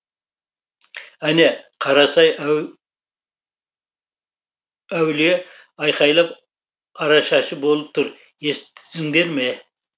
әне қарасай әулие айқайлап арашашы болып тұр ес тісіңдер ме